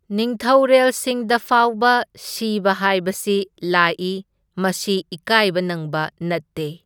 ꯅꯤꯡꯊꯧꯔꯦꯜꯁꯤꯡꯗꯐꯥꯎꯕ ꯁꯤꯕ ꯍꯥꯢꯕꯁꯤ ꯂꯥꯛꯏ ꯃꯁꯤ ꯏꯀꯥꯢꯕ ꯅꯪꯕ ꯅꯠꯇꯦ꯫